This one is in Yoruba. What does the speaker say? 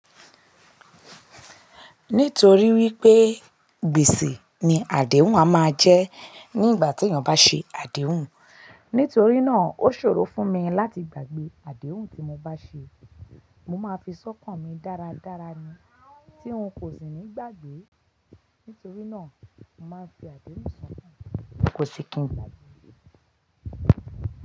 Nítorí wípé gbèsè ni àdéhùn a máa jẹ́ nígbà tí ènìyàn bá ṣe àdéhùn. Nítorí náà ó ṣòro fún mi láti gbàgbé àdéhùn tí mo bá ṣe. Mo máa ń fi sọ́kàn mi dáradára ni tí n kò sì ní gbàgbé. Nítorí náà mo máa ń fi àdéhùn sọ̀kàn mi, kò sì kí n gbàgbé.